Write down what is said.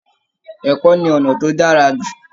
Ẹ̀kọ́ ni ọ̀nà tí ó dára jù